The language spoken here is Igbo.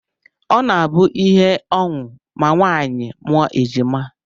Ọ na-abụ ihe ọṅụ ma nwaanyị mụọ ejima